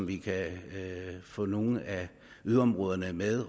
vi kan få nogle af yderområderne med